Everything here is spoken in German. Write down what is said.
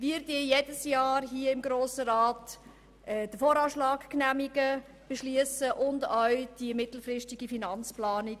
Wir genehmigen hier im Grossen Rat jedes Jahr den VA und diskutieren ebenfalls die mittelfristige Finanzplanung.